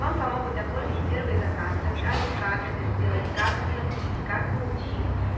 вам помогут оформить первый заказ расскажут как это сделать как оплатить как получить